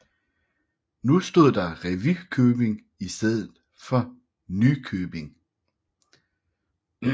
Nu stod der Revykøbing i stedet for Nykøbing